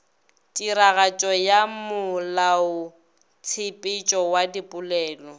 tiragatšo ya molaotshepetšo wa dipolelo